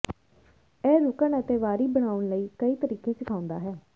ਇਹ ਰੁਕਣ ਅਤੇ ਵਾਰੀ ਬਣਾਉਣ ਲਈ ਕਈ ਤਰੀਕੇ ਸਿਖਾਉਂਦਾ ਹੈ